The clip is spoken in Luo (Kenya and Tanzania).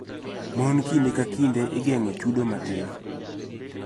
Mon kinde ka kinde igeng�o chudo matin.